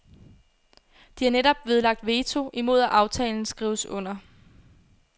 De har netop nedlagt veto imod at aftalen skrives under.